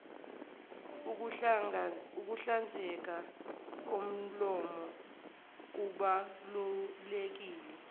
ukuhlanzeka komlomo kubaluleke